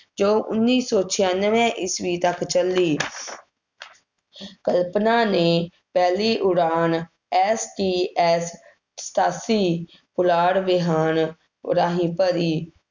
ਜੋ ਉੱਨੀ ਸੌ ਛਿਆਨਵੇਂ ਈਸਵੀ ਤੱਕ ਚੱਲੀ। ਕਲਪਨਾ ਨੇ ਪਹਿਲੀ ਉਡਾਨ STS ਸਤਾਸੀ, ਪੁਲਾੜ ਵਿਮਾਨ ਰਾਹੀਂ ਭਰੀ।